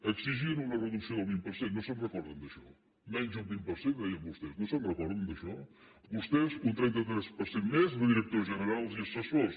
exigien una reducció del vint per cent no se’n recorden d’això menys d’un vint per cent deien vostès no se’n recorden d’això vostès un trenta tres per cent més de directors generals i assessors